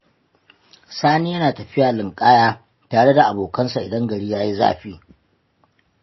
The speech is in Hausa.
Sani yana tafiya linƙaya tare da abokansa idan gari ya yi zafi.